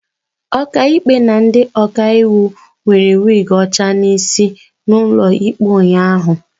Ọkaikpe na ndị ọkaiwu nwere wig ọcha n'isi n'ụlọ ikpe ụnyahụ